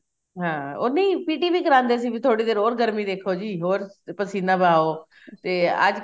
ਹਾਂ ਉਹ ਨਹੀਂ PT ਵੀ ਕਰਾਂਦੇ ਸੀ ਵੀ ਥੋੜੀ ਦੇਰ ਹੋਰ ਗਰਮੀ ਦੇਖੋ ਜੀ ਹੋਰ ਪਸੀਨਾ ਬਹਾਉ ਤੇ ਅੱਜਕਲ